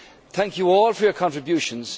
Thank you all for your contributions.